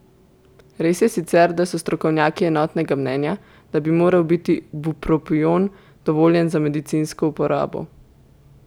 Res je sicer, da so strokovnjaki enotnega mnenja, da bi moral biti bupropion dovoljen za medicinsko uporabo.